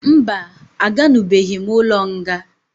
Mba, a ganubeghi m ụlọ nga